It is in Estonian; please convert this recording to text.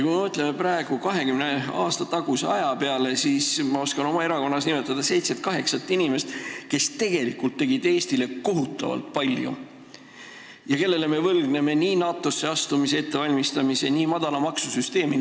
Kui me mõtleme praegu 20 aasta taguse aja peale, siis ma oskan oma erakonnas nimetada seitset-kaheksat inimest, kes tegelikult tegid Eesti heaks kohutavalt palju ja kellele me võlgneme tänu nii NATO-sse astumise ettevalmistamise kui ka madala maksusüsteemi eest.